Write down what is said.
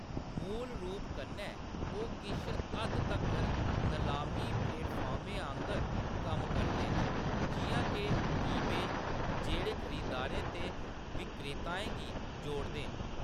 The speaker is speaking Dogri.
मूल रूप कन्नै, ओह्‌‌ किश हद्द तक्कर नलामी प्लेटफार्में आंह्‌गर कम्म करदे न, जिʼयां के ईबे, जेह्‌‌ड़े खरीदारें ते विक्रेताएं गी जोड़दे न।